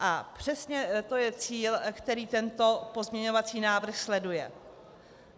A přesně to je cíl, který tento pozměňovací návrh sleduje.